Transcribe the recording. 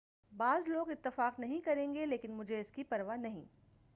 بعض لوگ اتفاق نہیں کریں گے لیکن مجھے اس کی پروا نہیں